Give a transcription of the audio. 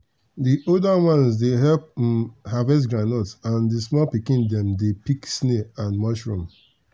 the older ones dey help um harvest groundnut and the small pikin dem dey pick snail and mushroom.